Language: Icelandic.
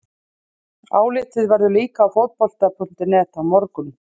Álitið verður líka á Fótbolta.net á morgun!